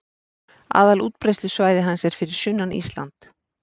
Aðalútbreiðslusvæði hans er fyrir sunnan Ísland